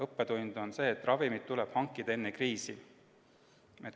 Õppetund on see, et ravimid tuleb hankida enne kriisi.